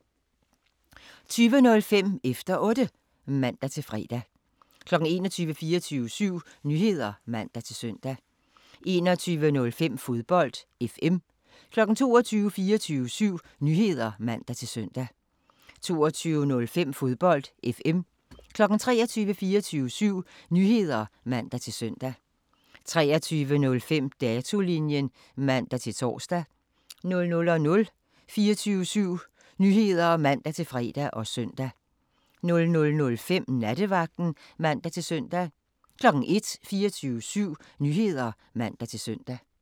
20:05: Efter Otte (man-fre) 21:00: 24syv Nyheder (man-søn) 21:05: Fodbold FM 22:00: 24syv Nyheder (man-søn) 22:05: Fodbold FM 23:00: 24syv Nyheder (man-søn) 23:05: Datolinjen (man-tor) 00:00: 24syv Nyheder (man-fre og søn) 00:05: Nattevagten (man-søn) 01:00: 24syv Nyheder (man-søn)